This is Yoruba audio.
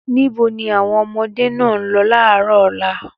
Níbo ni àwọn ọmọdé náà ń lọ láàárọ̀ ọ̀la?